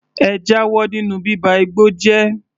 Ẹ jáwọ́ nínú bíba igbó jẹ́!